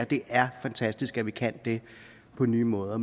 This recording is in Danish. det er fantastisk at vi kan det på nye måder